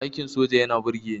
Aikin soja yana burgeni